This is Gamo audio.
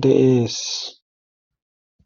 de7ees